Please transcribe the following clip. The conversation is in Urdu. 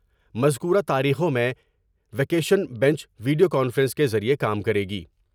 مذکورہ تاریخوں میں ویکیشن بنچ ویڈیو کانفرنس کے ذریعہ کام کرے گی۔